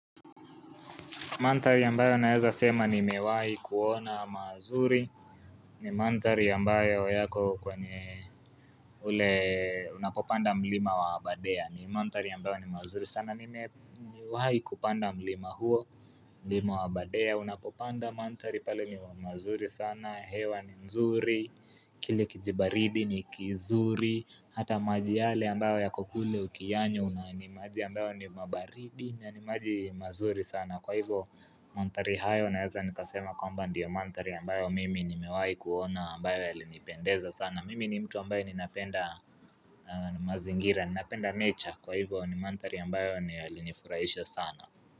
Mandhari ambayo naeza sema ni mewahi kuona mazuri ni mandhari ambayo yako kwenye ule unapopanda mlima wa abadea ni mandhari ambayo ni mzuri sana ni mewahi kupanda mlima huo nlima wa abadea unapopanda mandhari pale ni mazuri sana hewa ni nzuri kile kijibaridi ni kizuri Hata maji yale ambayo ya kokule ukiyanywa na ni maji ambayo ni mabaridi na ni maji mazuri sana Kwa hivyo mandhari hayo na weza nikasema kwamba ndiyo mandhari ambayo mimi ni mewahi kuona ambayo ya linipendeza sana Mimi ni mtu ambaye ni napenda mazingira, ni napenda nature Kwa hivyo ni mandhari ambayo ya linifurahisha sana.